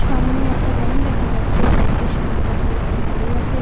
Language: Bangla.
সামনে একটা ব্যাংক দেখা যাচ্ছে ব্যাংকের সামনে কত লোকজন দাঁড়িয়ে আছে।